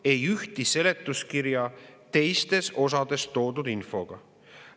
– ei ühti seletuskirja teistes osades toodud infoga.